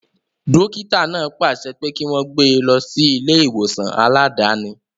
Dókítà náà pàṣẹ pé kí wọ́n gbé e lọ sí ilé ìwòsàn aláàdáni